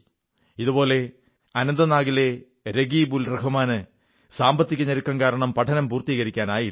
ഇതുപോലെ അനന്തനാഗിലെ രകീബ്ഉൽറഹ്മാന് സാമ്പത്തിക ഞെരുക്കം കാരണം പഠനം പൂർത്തീകരിക്കാനായില്ല